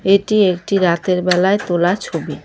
এটি একটি রাতের বেলায় তোলা ছবি।